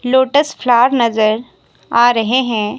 Lotus flower नजर आ रहे हैं।